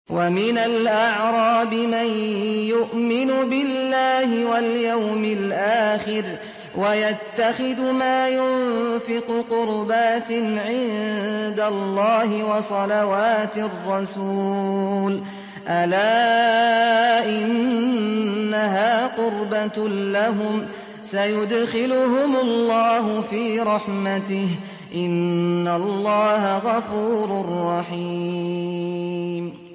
وَمِنَ الْأَعْرَابِ مَن يُؤْمِنُ بِاللَّهِ وَالْيَوْمِ الْآخِرِ وَيَتَّخِذُ مَا يُنفِقُ قُرُبَاتٍ عِندَ اللَّهِ وَصَلَوَاتِ الرَّسُولِ ۚ أَلَا إِنَّهَا قُرْبَةٌ لَّهُمْ ۚ سَيُدْخِلُهُمُ اللَّهُ فِي رَحْمَتِهِ ۗ إِنَّ اللَّهَ غَفُورٌ رَّحِيمٌ